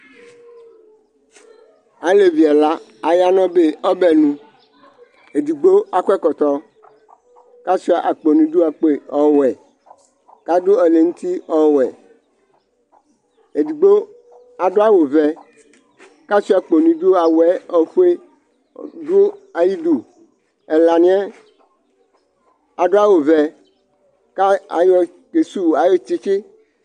Alevi ɛla aya nʋ ɔbɛnʋ, edigbo akɔ ɛkɔtɔ, kʋ asʋia akpo nʋ idu, akpo ɔwɛ, kʋ adʋ ɛlɛnuti ɔwɛ Edigbo adʋ awʋvɛ, kʋ asʋia akpo nʋ idu Awʋ ofue ɔdʋ ayʋ ɩdʋ Ɛlanɩ yɛ adʋ awʋvɛ kʋ ayɔ ke sʋwʋ ayʋ tsɩtsɩ